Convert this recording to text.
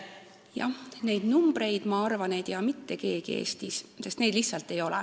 Neid numbreid, ma arvan, ei tea Eestis mitte keegi, sest neid lihtsalt ei ole.